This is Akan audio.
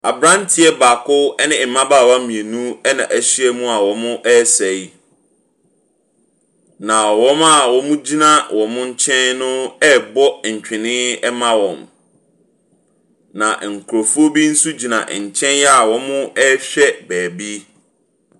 Aberanteɛ baak ne mmabaawa mmienu n wɔahyia mu a wɔresa yi. Na wɔn a wɔgyina wɔn nkyen no rebɔ ntwene ma wɔn. N nkurɔfoɔ bi nso gyina nkyɛn a wɔrehwɛ baabi.